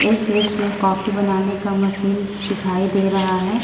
इस दृश्य में कॉफी बनाने का मशीन दिखाई दे रहा है।